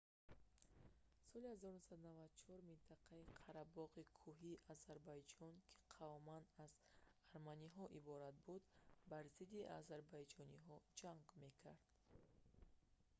соли 1994 минтақаи қарабоғи кӯҳии озарбойҷон ки қавман аз арманиҳо иборат буд бар зидди озарбойҷониҳо ҷанг мекард